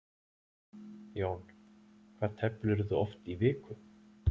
Jón: Hvað teflirðu oft í viku?